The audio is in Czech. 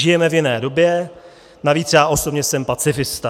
Žijeme v jiné době, navíc já osobně jsem pacifista.